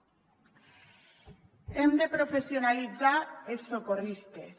hem de professionalitzar els socorristes